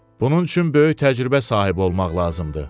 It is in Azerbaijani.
Bunun üçün böyük təcrübə sahibi olmaq lazımdır.